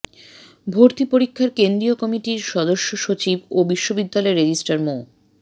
ভর্তি পরীক্ষার কেন্দ্রীয় কমিটির সদস্য সচিব ও বিশ্ববিদ্যালয়ের রেজিস্ট্রার মো